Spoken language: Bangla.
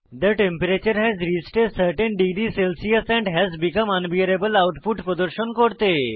the temperature has reached a certain degree Celsius and has become unbearable output প্রদর্শন করতে